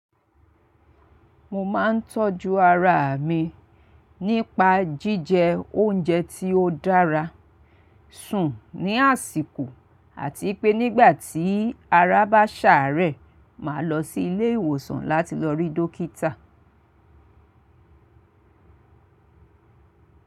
Mo máa ń tọ́jú ara mi nípa jíjẹ oúnjẹ tí ó dára, sùn ní àsìkò àti pé nígbà tí ara bá ṣàárẹ̀, màá lọ sí ilé ìwòsàn láti lọ rí dókítà.